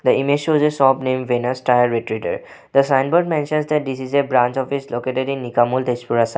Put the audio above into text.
The image shows a shop name venus tyre retreader the signboard mentions that this is a branch office located in nikamul tezpur assam.